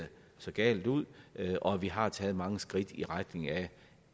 så galt ud og vi har taget mange skridt i retning af